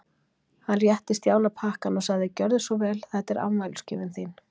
Hann rétti Stjána pakkann og sagði: Gjörðu svo vel, þetta er afmælisgjöfin þín.